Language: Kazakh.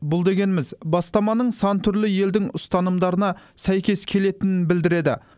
бұл дегеніміз бастаманың сан түрлі елдің ұстанымына сәйкес келетінін білдіреді